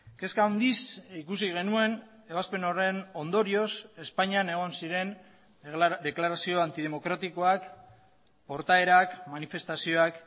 kezka handiz ikusi genuen ebazpen horren ondorioz espainian egon ziren deklarazioantidemokratikoak portaerak manifestazioak